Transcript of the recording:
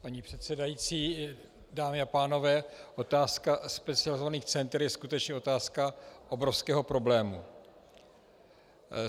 Paní předsedající, dámy a pánové, otázka specializovaných center je skutečně otázka obrovského problému.